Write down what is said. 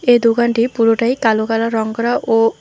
এ দোকানটি পুরোটাই কালো কালার রঙ করা ও--